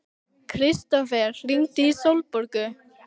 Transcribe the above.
Kristófer, hringdu í Sólborgu.